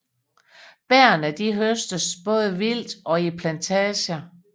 Bærrene høstes både vildt og i plantager